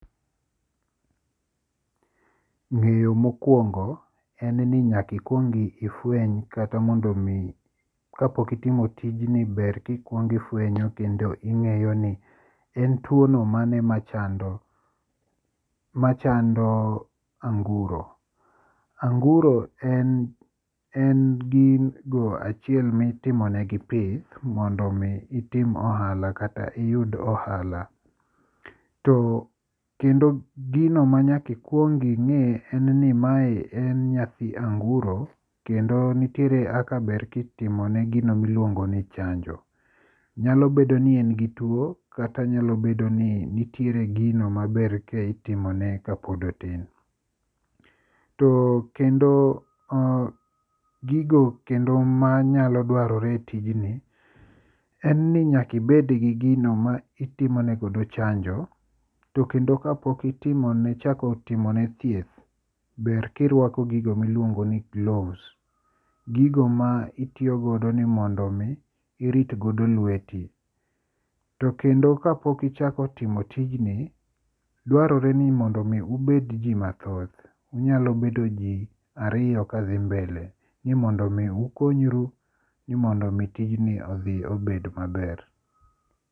Ng'eyo mokuongo en ni nyaka ikuong ifueny kata mondo mi kapok itimo tijni ber ka ikuongo ifuenyo kendo ing'eyo ni en tuo no mane machando machando anguro. Anguro en en gigo achiel mitimonegi pith mondo mi itim ohala kata iyud ohala to kendo gino manyaka ikuong ing'e en ni mae en nyathi anguro kendo nitiere kaka ber kitimone gino miluongo ni chanjo. Nyalo bed ni en gi tuo kata nyalo bedo ni nitiere gino ma ber ka itimone kapod otin. To kendo oh gigo kendo manyalo dwarore e tijni, en ni nyaka ibed gi gino ma itimone godo chanjo. To kendo kapok itimone chako timone thieth, ber ka iruako gigo ma iluongo ni gloves. Gigo ma iiyo godo ni mondo mi irit godo lweti. To kendo kapok ichako timo tijni, dwarore ni mondo mi ubed ji mathoth. Unyalo bedo ji ariyo kadhi mbele ni mondo mi ukonyru, mondo mi tijni odhi obed maber.